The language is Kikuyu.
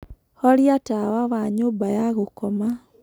horĩa tawa wa nyũmba ya gũkoma